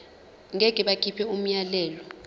ngeke bakhipha umyalelo